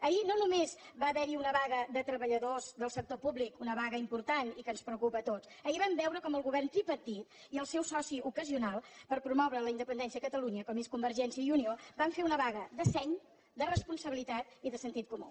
ahir no només va haver hi una vaga de treballadors del sector públic una vaga important i que ens preocupa a tots ahir vam veure com el govern tripartit i el seu soci ocasional per promoure la independència de catalunya com és convergència i unió van fer una vaga de seny de responsabilitat i de sentit comú